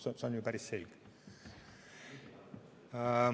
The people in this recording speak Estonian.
See on ju päris selge.